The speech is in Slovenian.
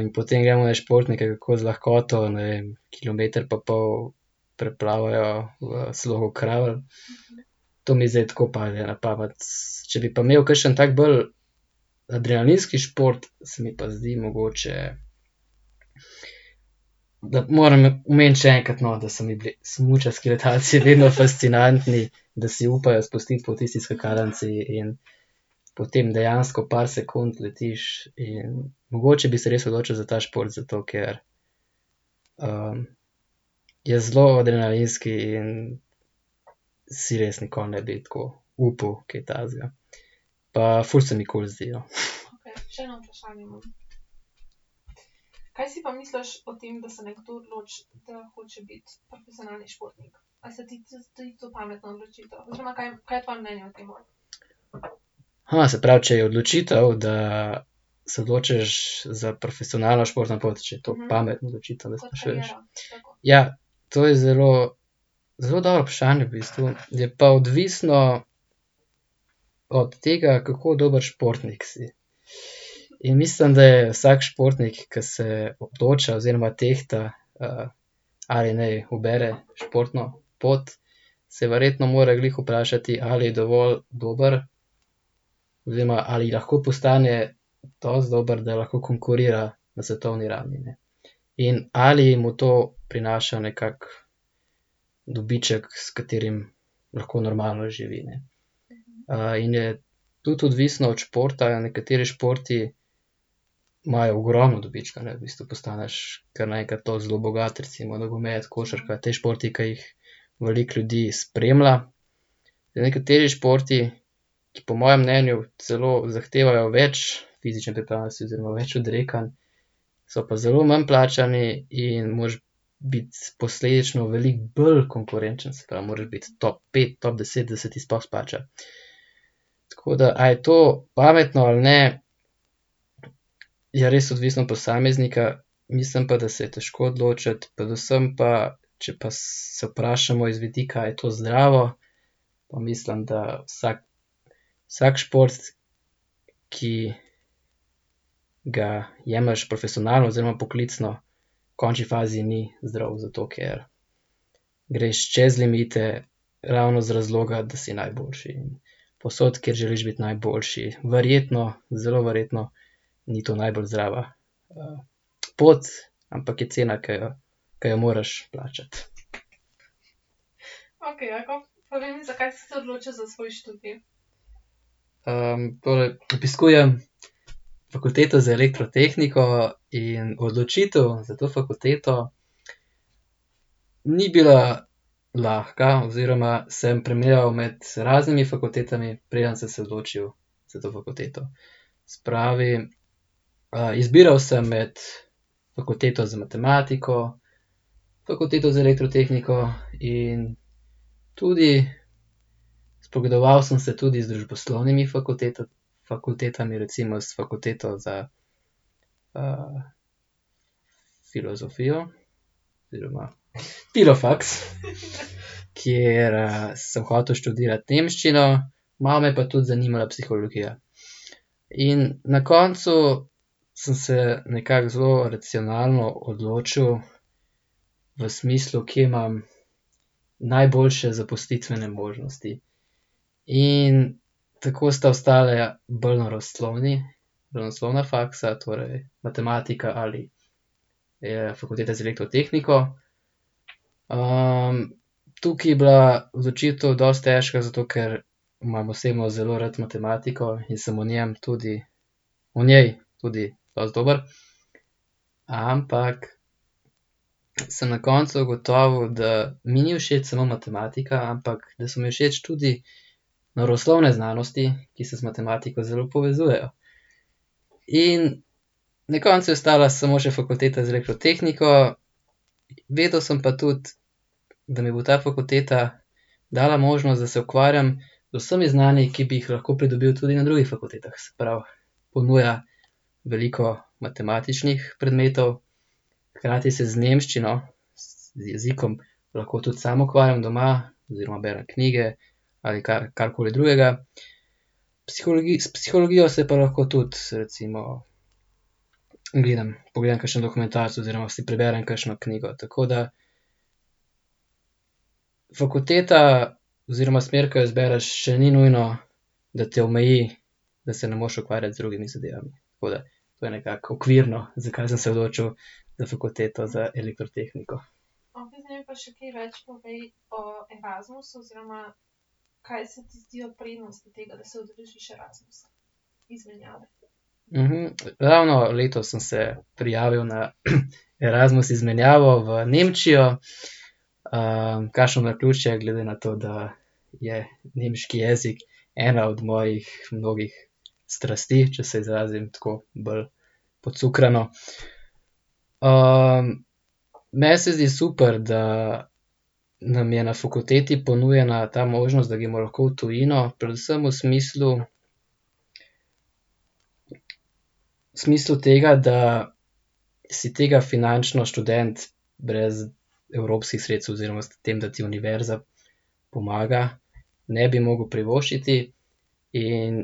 in potem jemlješ športnike, kako z lahkoto, ne vem, kilometer pa pol preplavajo v slogu kravl. To mi zdaj tako pade na pamet, če bi pa imeli kakšen tak bolj adrenalinski šport, se mi pa zdi mogoče ... Da moram omeniti še enkrat, no, da so mi bili smučarski letalci vedno fascinantni, da si upajo spustiti po tisti skakalnici, in potem dejansko par sekund letiš in mogoče bi se res odločil za ta šport, zato ker, je zelo adrenalinski in si res nikoli ne bi tako upal kaj takega pa ful se mi kul zdi, no. se pravi, če je odločitev, da se odločiš za profesionalno športno pot, če je to pametna odločitev . Ja, to je zelo, zelo dobro vprašanje v bistvu, je pa odvisno od tega, kako dober športnik si. In mislim, da je vsak športnik, ko se odloča oziroma tehta, ali naj ubere športno pot, se verjetno more glih vprašati, ali je dovolj dober oziroma ali lahko postane dosti dober, da lahko konkurira na svetovni ravni, ne. In ali mu to prinaša nekako dobiček, s katerim lahko normalno živi, ne. in je tudi odvisno od športa, nekateri športi imajo ogromno dobička, ne, v bistvu postaneš kar naenkrat dosti zelo bogat, recimo nogomet, košarka, ti športi, ke jih veliko ljudi spremlja. Nekateri športi, ki po mojem mnenju celo zahtevajo več fizične pripravljenosti oziroma več odrekanj, so pa zelo manj plačani in moraš biti posledično veliko bolj konkurenčen, se pravi, moraš biti top pet, top deset, da se ti sploh izplača. Tako da, a je to pametno ali ne, je res odvisno od posameznika, mislim pa, da se je težko odločiti, predvsem pa, če pa se vprašamo iz vidika, a je to zdravo, pa mislim, da vsak, vsak šport, ki ga jemlješ profesionalno oziroma poklicno, v končni fazi ni zdrav, zato ker greš čez limite, ravno z razloga, da si najboljši povsod, kjer želiš biti najboljši. Verjetno, zelo verjetno ni to najbolj zdrava, pot, ampak je cena, ke jo, ke jo moraš plačati. obiskujem Fakulteto za elektrotehniko in odločitev za to fakulteto ni bila lahko oziroma sem premleval med raznimi fakultetami, preden sem se odločil za to fakulteto. Se pravi, izbiral sem med Fakulteto za matematiko, Fakulteto za elektrotehniko in tudi, spogledoval sem se tudi z družboslovnimi fakultetami, recimo s fakulteto za, filozofijo oziroma filofaks , kjer sem hotel študirati nemščino, malo me je pa tudi zanimala psihologija. In na koncu sem se nekako zelo racionalno odločil, v smislu, kje imam najboljše zaposlitvene možnosti. In tako sta ostala bolj naravoslovni, naravoslovna faksa, torej matematika ali, Fakulteta za elektrotehniko, tukaj je bila v začetku dosti težka, zato ker imam osebno zelo rad matematiko in sem v njem tudi, v njej tudi dosti dober. Ampak sem na koncu ugotovil, da mi ni všeč samo matematika, ampak da so mi všeč tudi naravoslovne znanosti, ki se z matematiko zelo povezujejo. In na koncu je ostala samo še fakulteta za elektrotehniko, vedel sem pa tudi, da mi bo ta fakulteta dala možnost, da se ukvarjam z vsemi znanji, ki bi jih lahko pridobil tudi na drugih fakultetah, se pravi, ponuja veliko matematičnih predmetov, hkrati se z nemščino, z jezikom, lahko tudi sam ukvarjam doma oziroma berem knjige ali karkoli drugega, s psihologijo se pa lahko tudi, se recimo ... Gledam, pogledam kakšen dokumentarec oziroma si preberem kakšno knjigo, tako da fakulteta oziroma smer, ke jo izbereš, še ni nujno da te omeji, da se ne moreš ukvarjati z drugimi zadevami, tako da to je nekako okvirno, zakaj sem se odločil za Fakulteto za elektrotehniko. ravno letos sem se prijavil na Erasmus izmenjavo v Nemčijo, kakšno naključje, glede na to, da je nemški jezik ena od mojih mnogih strasti, če se izrazim tako bolj pocukrano. meni se zdi super, da nam je na fakulteti ponujena ta možnost, da gremo lahko v tujino, predvsem v smislu, v smislu tega, da si tega finančno študent brez evropskih sredstev oziroma s tem, da ti univerza pomaga, ne bi mogel privoščiti. In